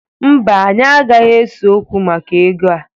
Mba, anyị agaghị ese okwu maka ego a.